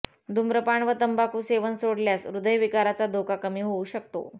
धूम्रपान व तंबाखू सेवन सोडल्यास हदयविकाराचा धोका कमी होऊ शकतो